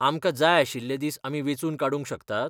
आमकां जाय आशिल्ले दीस आमी वेंचून काडूंक शकतात?